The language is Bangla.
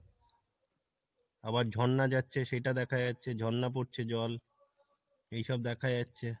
আবার ঝর্ণা যাচ্ছে সেটা দেখা যাচ্ছে, ঝর্ণা পরছে জল এইসব দেখা যাচ্ছে।